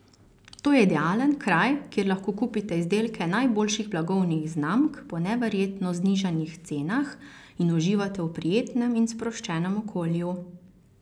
To je idealen kraj, kjer lahko kupite izdelke najboljših blagovnih znamk po neverjetno znižanih cenah in uživate v prijetnem in sproščenem okolju.